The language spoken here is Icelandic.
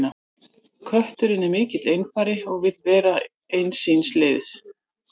kötturinn er mikill einfari og vill vera eins síns liðs